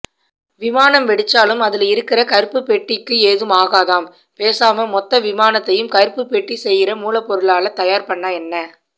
விமானம் வெடிச்சாலும் அதுல இருக்கர கருப்பு பெட்டி க்கு எதும்ஆகாதாம் பேசாமா மொத்தவிமானத்தையும் கருப்பு பெட்டிசெய்யர மூல பொருளால தயார்பண்ணஎன்ன